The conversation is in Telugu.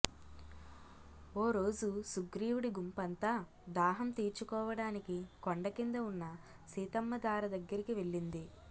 ఓరోజు సుగ్రీవుడి గుంపంతా దాహం తీర్చుకోవడానికి కొండకింద ఉన్న సీతమ్మధార దగ్గరికి వెళ్లింది